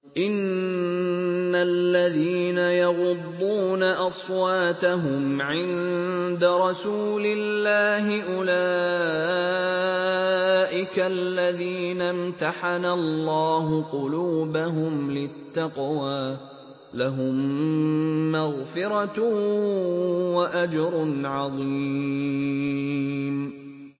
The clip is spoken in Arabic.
إِنَّ الَّذِينَ يَغُضُّونَ أَصْوَاتَهُمْ عِندَ رَسُولِ اللَّهِ أُولَٰئِكَ الَّذِينَ امْتَحَنَ اللَّهُ قُلُوبَهُمْ لِلتَّقْوَىٰ ۚ لَهُم مَّغْفِرَةٌ وَأَجْرٌ عَظِيمٌ